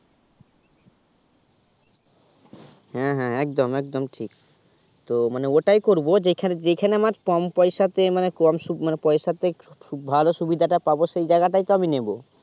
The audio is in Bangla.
হ্যা হ্যা একদম একদম ঠিক তো মানে ওটাই করবো যেখান যেখানে আমার কম পয়সা তে মানে কম সু মানে পয়সাতে ভালো সুবিধাটা পাবো সেই জায়গাটাই নেবো